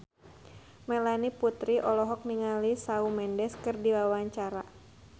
Melanie Putri olohok ningali Shawn Mendes keur diwawancara